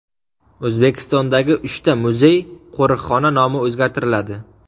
O‘zbekistondagi uchta muzey-qo‘riqxona nomi o‘zgartiriladi.